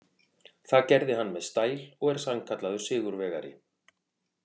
Það gerði hann með stæl og er sannkallaður sigurvegari.